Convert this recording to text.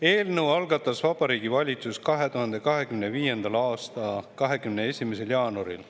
Eelnõu algatas Vabariigi Valitsus 2025. aasta 21. jaanuaril.